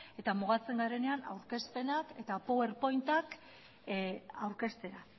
eta mugatzen garenean aurkezpenak eta power point ak aurkeztea